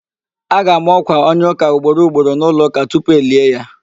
A ga-ama ọ̀kwà onye ụ̀ká ugboro ugboro n'ụlọụ̀ká tupu elie ya